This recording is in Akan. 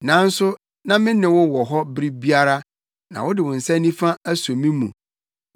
Nanso na me ne wo wɔ hɔ bere biara; na wode wo nsa nifa aso me mu.